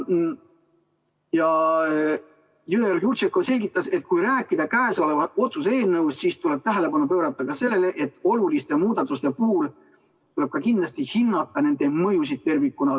Jõeorg-Jurtšenko selgitas, et kui rääkida käesoleva otsuse eelnõust, siis tuleb tähelepanu pöörata ka sellele, et oluliste muudatuste puhul tuleb kindlasti hinnata nende mõjusid tervikuna.